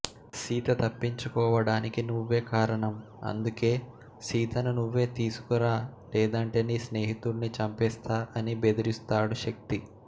సీత తప్పించుకోవడానికి నువ్వే కారణం అందుకే సీతను నువ్వే తీసుకురా లేదంటే నీ స్నేహితుడ్ని చంపేస్తాఅని బెదిరిస్తాడు శక్తి